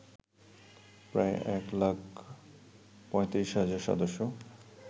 প্রায় এক লাখ ৩৫ হাজার সদস্য